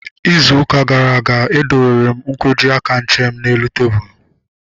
Ịzụ ụka gara aga, e dowere m nkwọji aka nche m n'elu tebụlu